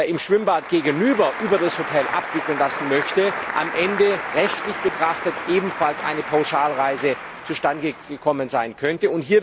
im Schwimmbad gegenüber über das Hotel abwickeln lassen möchte, am Ende rechtlich betrachtet ebenfalls eine Pauschalreise zustandegekommen sein könnte.